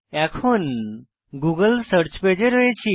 এখন Google search পেজে রয়েছি